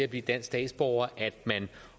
blive dansk statsborger at man